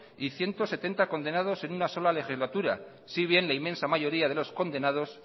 y ciento setenta condenados en una sola legislatura si bien la inmensa mayoría de los condenados